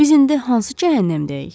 Biz indi hansı cəhənnəmdəyik?